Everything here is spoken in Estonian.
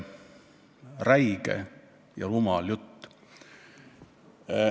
Räige ja rumal jutt.